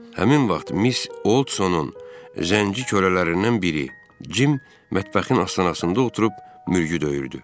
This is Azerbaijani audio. Həmin vaxt Mis Olsonun zənci kölələrindən biri, Cim mətbəxin astanasında oturub mürgü döyürdü.